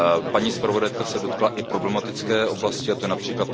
Paní zpravodajka se dotkla i problematické oblasti, a to je např.